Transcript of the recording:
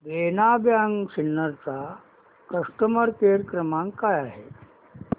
देना bank Sinnar चा customer care क्रमांक काय आहे